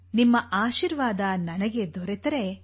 ನಿಮ್ಮ ಆಶೀರ್ವಾದ ನನಗೆ ದೊರೆತರೆ